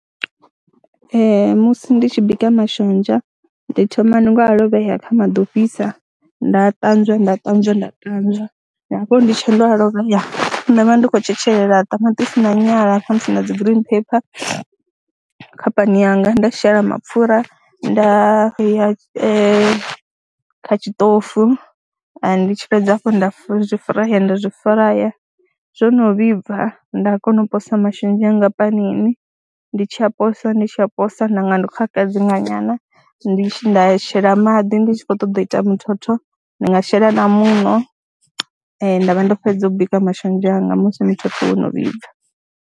Ee, musi ndi tshi bika mashonzha ndi thoma nga u a lovhea kha maḓi o fhisa nda ṱanzwa nda ṱanzwa nda ṱanzwa, ngaa hafho ndi tshe ndo a lovhea, nda vha ndi khou tshetshelela ṱamaṱisi na nyala kha musi na dzi green pepper kha pani yanga nda shela mapfhura nda vheya kha tshiṱofu, ndi tshi fhedza hafho nda zwi furaya nda zwi furaya, zwo no vhibva nda kona u posa mashonzha anga panini, ndi tshi a posa ndi tshi a posa, nda nga ndi khou a kadzinga nyana, ndi tshi, nda shela maḓi ndi tshi khou ṱoḓa u ita muthotho, ndi nga shela na muṋo nda vha ndo fhedza u bika mashonzha anga musi muthotho wono vhibva.